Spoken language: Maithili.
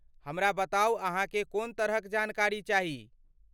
हमरा बताउ अहाँके कोन तरहक जानकारी चाही।